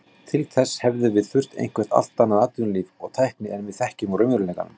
Til þess hefði þurft eitthvert allt annað atvinnulíf og tækni en við þekkjum úr raunveruleikanum.